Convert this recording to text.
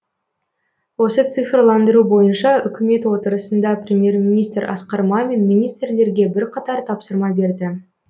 осы цифрландыру бойынша үкімет отырысында премьер министр асқар мамин министрлерге бірқатар тапсырма берді